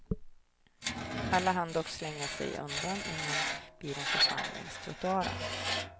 Alla hann dock slänga sig undan, innan bilen försvann längs trottoaren.